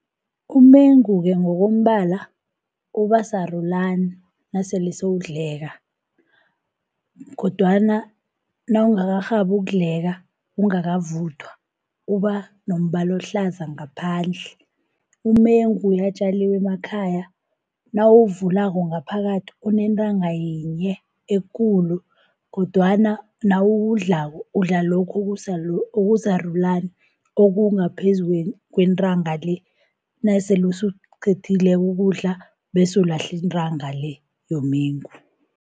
Umengu-ke ngokombala uba sarulani nasele sewudleka, kodwana nawungakarhabi ukudleka ungakavuthwa, uba nombala ohlaza ngaphandle. Umengu uyatjaliwa emakhaya, nawuwuvulako ngaphakathi unentanga yinye ekulu, kodwana nawuwudlako udla lokhu okusarulani okungaphezu kwentanga le, nasele sewuqedileko ukudla bese ulahla intanga le, yomengu.